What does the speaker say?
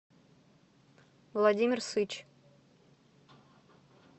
владимир сыч